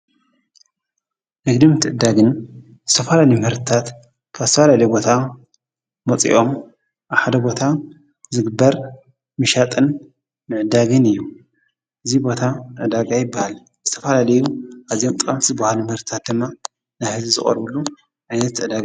ንግድን ምትዕድዳግን ዝተፈላለዩ ምህርትታት ካብ ዝተፈላለየ ቦታ መፂኦም ኣብ ሓደ ቦታ ዝግበር ምሻጥን ምዕዳግን እዩ ። እዚ ቦታ ዕዳጋ ይበሃል ። ዝተፈላለዩ ኣዝዮም ጠቀምቲ ዝበሃሉ ምህርታት ድማ ናብ ህዝቢ ዝቀርብሉ ዓይነት ዕዳጋ እዩ።